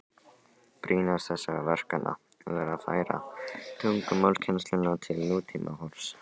Brýnast þessara verkefna var að færa tungumálakennsluna til nútímahorfs.